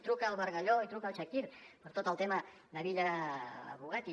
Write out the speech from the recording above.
truca al bargalló i truca al chakir per tot el tema de villa bugatti